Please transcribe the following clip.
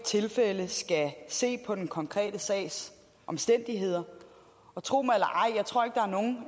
tilfælde skal se på den konkrete sags omstændigheder tro mig